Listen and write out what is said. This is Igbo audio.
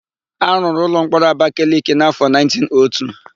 A rụrụ ụlọmkpọrọ Abakaleke n'áfọ 1902.